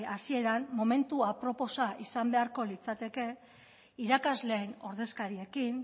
hasieran momentu aproposa izan beharko litzateke irakasleen ordezkariekin